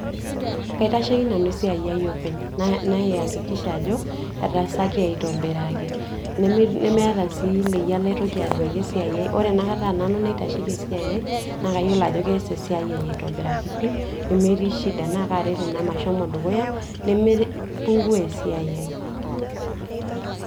Kaitashieki nanu esiai aai nanu openy, nai nai hakikisha ajo etaasaki aitobiraki nemeeta sii leyiata naitoki ajoki asiaai ai ore etaa nanu naitasheki esiai aai nakayiolo ajo keesa esiaai ai aitobiraki nemetii shida na kaaret ina meshomo esiai aai dukuya nemei pungua esiaai aai.